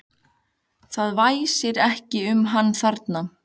Það væsir ekki um hann þarna.